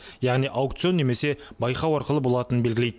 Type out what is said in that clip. яғни аукцион немесе байқау арқылы болатынын белгілейді